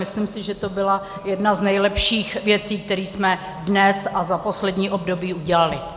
Myslím si, že to byla jedna z nejlepších věcí, které jsme dnes a za poslední období udělali.